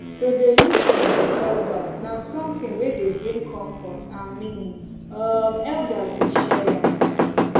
to dey lis ten to elders na something wey dey bring comfort and meaning um elders dey share am